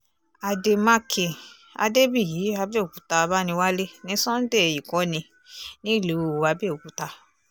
àdèmàkè adébíyì àbẹ̀òkúta abániwálé ní sunday ìkọ́ni nílùú àbẹ̀òkúta